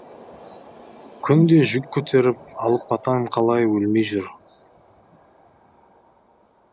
күнде жүк көтеріп алыпатан қалай өлмей жүр